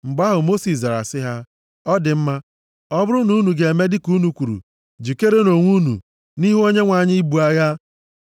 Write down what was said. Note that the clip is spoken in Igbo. Mgbe ahụ, Mosis zara sị ha, “Ọ dị mma, ọ bụrụ na unu ga-eme dịka unu kwuru, jikere onwe unu, nʼihu Onyenwe anyị, ibu agha.